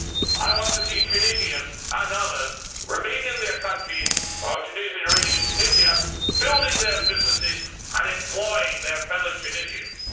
I want to see Tunisians and others remain in their countries or Tunisians remaining in Tunisia, building their businesses and employing their fellow Tunisians.